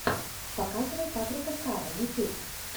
показывай патрика стара ютьюб